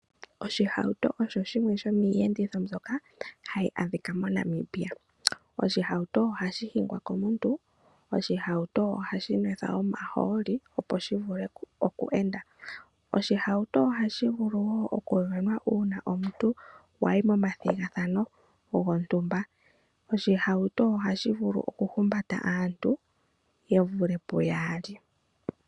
Oshihawuto osho shimwe shomiiyenditho mbyoka hayi adhika moNamibia. Oshihawuto ohashi hingwa komuntu, oshihawuto ohashi nwethwa omahooli opo shi vule okwu enda. Oshihawuto ohashi vulu wo okuvenwa uuna wayi momathigathano gontumba. Oshihawuto ohashi vulu oku humbata aantu yevule puyaali.